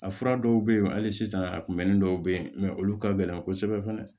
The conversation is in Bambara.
A fura dɔw bɛ yen hali sisan a kunbɛnni dɔw bɛ yen olu ka gɛlɛn kosɛbɛ